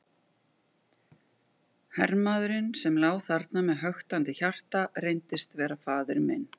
Hermaðurinn sem lá þarna með höktandi hjarta reyndist vera faðir minn.